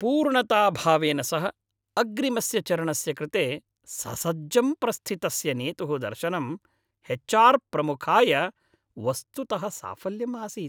पूर्णताभावेन सह अग्रिमस्य चरणस्य कृते ससज्जं प्रस्थितस्य नेतुः दर्शनं एच्.आर्. प्रमुखाय वस्तुतः साफल्यम् आसीत्।